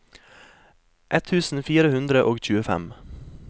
ett tusen fire hundre og tjuefem